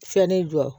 Fɛnni jɔ